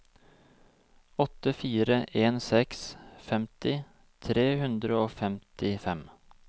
åtte fire en seks femti tre hundre og femtifem